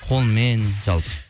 қолмен жалпы